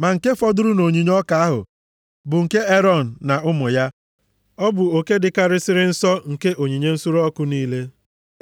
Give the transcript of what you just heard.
Ma nke fọdụrụ nʼonyinye ọka ahụ bụ nke Erọn na ụmụ ya. Ọ bụ oke dịkarịsịrị nsọ nke onyinye nsure ọkụ niile